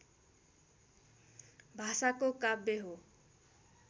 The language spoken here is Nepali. भाषाको काव्य हो